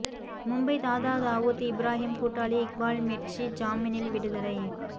மும்பை தாதா தாவூத் இப்ராஹிம் கூட்டாளி இக்பால் மிர்ச்சி ஜாமீனில் விடுதலை